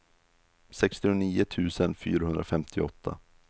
sextionio tusen fyrahundrafemtioåtta